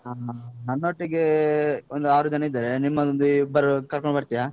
ಹಾ ನನ್ನೊಟ್ಟಿಗೆ ಒಂದು ಆರು ಜನ ಇದ್ದಾರೆ. ನಿಮ್ಮದೊಂದು ಇಬ್ಬರು ಕರ್ಕೊಂಡು ಬರ್ತಿಯಾ?